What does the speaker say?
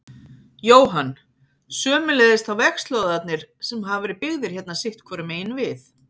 Jóhann: Sömuleiðis þá vegslóðarnir sem hafa verið byggðir hérna sitthvoru megin við?